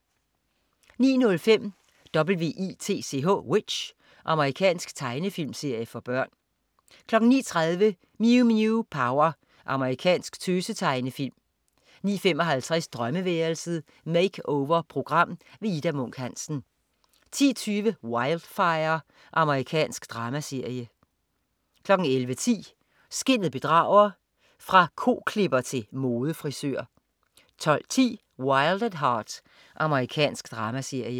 09.05 W.i.t.c.h. Amerikansk tegnefilmserie for børn 09.30 Mew Mew Power. Japansk tøse-tegnefilm 09.55 Drømmeværelset. Makeover-program. Ida Munk Hansen 10.20 Wildfire. Amerikansk dramaserie 11.10 Skinnet bedrager. Fra koklipper til modefrisør 12.10 Wild at Heart. Amerikansk dramaserie